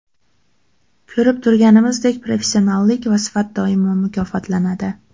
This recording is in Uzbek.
Ko‘rib turganimizdek, professionallik va sifat doimo mukofotlanadi.